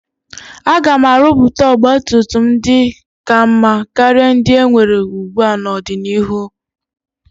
A ga-arụpụta ọgba tum tum ndị ka mma karịa ndị enwere ugbua n'ọdịnihu.